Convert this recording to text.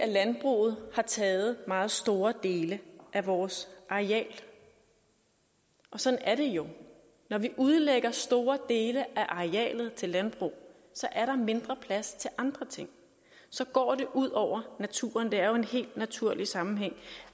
landbruget har taget meget store dele af vores areal sådan er det jo når vi udlægger store dele af arealet til landbrug er der mindre plads til andre ting og så går det ud over naturen der er jo en helt naturlig sammenhæng